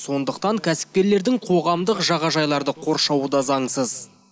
сондықтан кәсіпкерлердің қоғамдық жағажайларды қоршауы да заңсыз